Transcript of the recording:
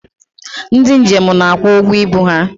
Ndị njem na-akwụ ụgwọ ibu ha.